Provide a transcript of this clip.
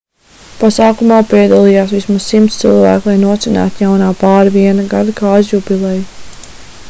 pasākumā piedalījās vismaz 100 cilvēki lai nosvinētu jaunā pāra viena gada kāzu jubileju